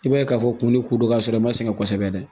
I b'a ye k'a fɔ kunnun kun don ka sɔrɔ i ma sɛgɛn kosɛbɛ dɛ